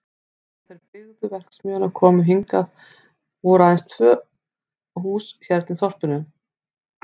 Þegar þeir sem byggðu verksmiðjuna komu hingað voru aðeins tvö hús hérna í þorpinu.